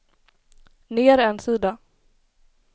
ner en sida